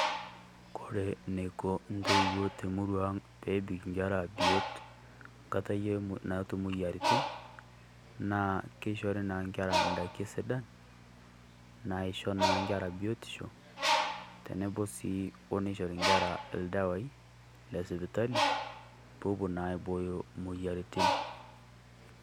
Kore neiko intoiwuo te murua ang' pepik nkera biot nkata yie naata moyiaritin, naa keishori naa nkerra ndaiki sidan naishoo naa nkerra biotisho tenebo sii o neishorri nkerra ildawai le sipitali, pewuo naa aibooyo imoyiaritin.